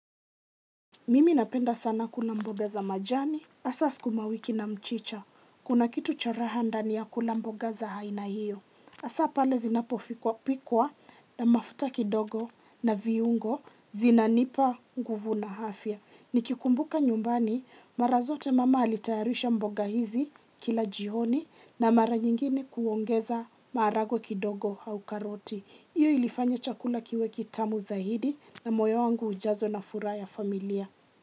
Mimi napenda sana kula mboga za majani. Asa sukumawiki na mchicha. Kuna kitu cha raha ndani ya kula mboga za haina hiyo. Asa pale zinapofikwa pikwa na mafuta kidogo na viungo zinanipa nguvu na afya. Nikikumbuka nyumbani mara zote mama alitayarisha mboga hizi kila jioni na mara nyingine kuongeza maharagwe kidogo au karoti. Iyo ilifanya chakula kiwe kitamu zaidi na moyo wangu ujazo na furaha ya familia.